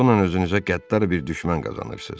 "Bununla özünüzə qəddar bir düşmən qazanırsız."